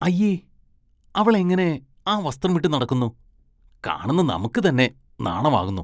അയ്യേ, അവളെങ്ങനെ ആ വസ്ത്രമിട്ട് നടക്കുന്നു, കാണുന്ന നമുക്ക് തന്നെ നാണമാകുന്നു.